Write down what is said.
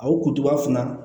A wotoba fana